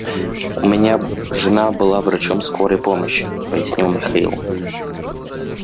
у меня жена была врачом скорой помощи пояснил михаил